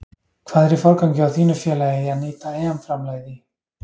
Hvað er í forgangi hjá þínu félagi í að nýta EM framlagið í?